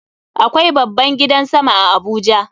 Akwai babban gidan sama a Abuja.